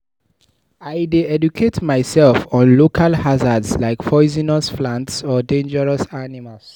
I dey educate myself on local hazards like poisonous plants or dangerous animals.